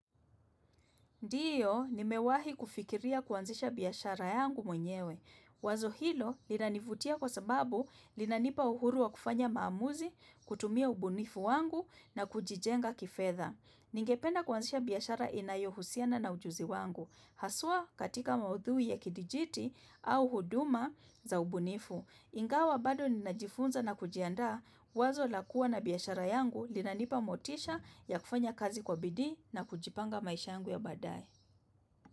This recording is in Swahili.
Ndiyo, nimewahi kufikiria kuanzisha biashara yangu mwenyewe. Wazo hilo linanivutia kwa sababu linanipa uhuru wa kufanya maamuzi, kutumia ubunifu wangu na kujijenga kifedha. Ningependa kuanzisha biashara inayohusiana na ujuzi wangu. Haswa katika maudhui ya kidijiti au huduma za ubunifu. Ingawa bado ninajifunza na kujiandaa, wazo la kua na biashara yangu linanipa motisha ya kufanya kazi kwa bidii na kujipanga maisha yangu ya baadaye.